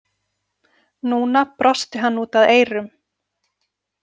Núna brosti hann út að eyrum.